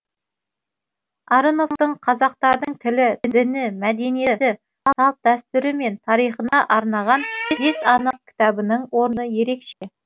арыновтың қазақтардың тілі діні мәдениеті салт дәстүрі мен тарихына арнаған бес анық кітабының орны ерекше